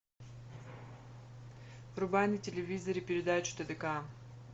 врубай на телевизоре передачу тдк